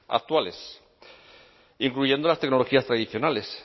actuales incluyendo las tecnologías tradicionales